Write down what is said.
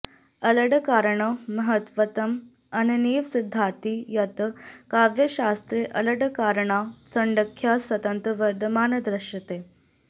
अलङ्काराणां महत्त्वम् अनेनैव सिद्ध्यति यत् काव्यशास्त्रे अलङ्काराणां सङ्ख्या सततं वर्धमाना दृश्यते